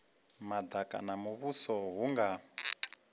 madaka ha muvhuso hu nga